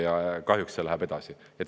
Ja kahjuks see läheb edasi.